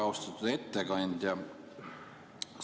Austatud ettekandja!